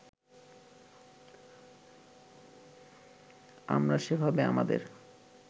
আমরা সেভাবে আমাদের